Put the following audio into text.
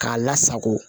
K'a lasako